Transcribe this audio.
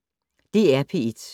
DR P1